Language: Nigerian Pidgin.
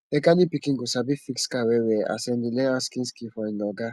mechanic pikin go sabi fix car well well as em dey learn handson skills from e oga